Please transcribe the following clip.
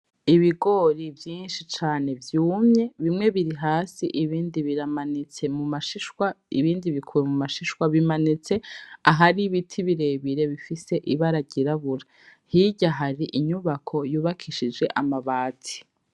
Ibigoro vyishi cane vyumye bimwe biri hasi ibindi biramabitse mu mashishwa ibindi bikuwe mu mashishwa bimanitse ahari ibiti birebire bifise ibara ryirabura hirya hari inyubako yubakishije amabati.